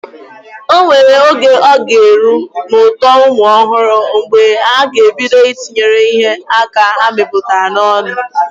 O nwere oge ọ ga-eru n'uto ụmụ ọhụrụ mgbe ha ga-ebido Ị tinyere ihe aka ha metụtara n'ọnụ